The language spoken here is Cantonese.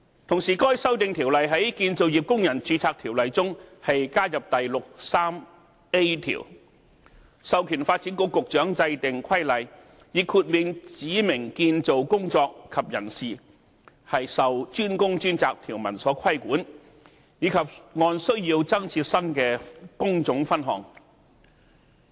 同時，該《條例草案》在《條例》中加入第 63A 條，授權發展局局長制定規例，以豁免指明建造工作及人士受"專工專責"條文規管，以及按需要增設新的工種分項。